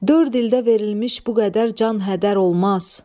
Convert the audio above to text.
Dörd ildə verilmiş bu qədər can hədər olmaz.